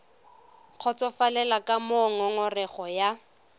kgotsofalele ka moo ngongorego ya